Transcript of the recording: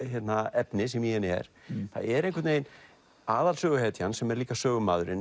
efni sem í henni er það er einhvern veginn aðalsöguhetjan sem er líka sögumaðurinn